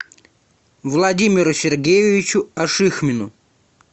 владимиру сергеевичу ашихмину